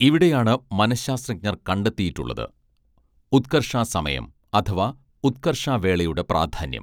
ഇവിടെയാണ് മനഃശാസ്ത്രജ്ഞർ കണ്ടെത്തിയിട്ടുള്ളത് ഉത്കർഷാസമയം അഥവാ ഉത്കർഷാവേളയുടെ പ്രാധാന്യം